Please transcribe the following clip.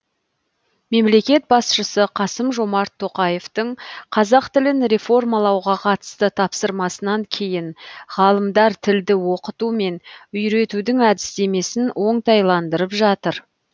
мемлекет басшысы қасым жомарт тоқаевтың қазақ тілін реформалауға қатысты тапсырмасынан кейін ғалымдар тілді оқыту мен үйретудің әдістемесін оңтайландырып жатыр